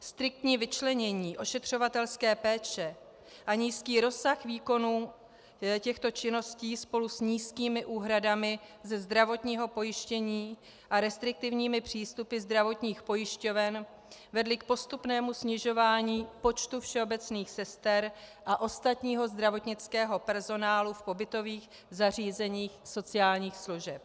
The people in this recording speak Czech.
Striktní vyčlenění ošetřovatelské péče a nízký rozsah výkonů těchto činností spolu s nízkými úhradami ze zdravotního pojištění a restriktivními přístupy zdravotních pojišťoven vedly k postupnému snižování počtu všeobecných sester a ostatního zdravotnického personálu v pobytových zařízeních sociálních služeb.